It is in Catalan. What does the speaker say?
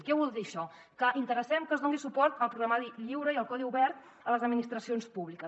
què vol dir això que interessem que es doni suport al programari lliure i al codi obert a les administracions públiques